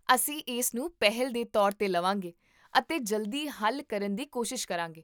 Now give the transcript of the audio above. ਅਸੀਂ ਇਸ ਨੂੰ ਪਹਿਲ ਦੇ ਤੌਰ 'ਤੇ ਲਵਾਂਗੇ ਅਤੇ ਜਲਦੀ ਹੱਲ ਕਰਨ ਦੀ ਕੋਸ਼ਿਸ਼ ਕਰਾਂਗੇ